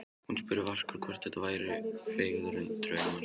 Svo hún spurði varkár hvort þetta væru feigðardraumar.